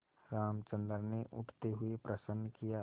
रामचंद्र ने उठते हुए प्रश्न किया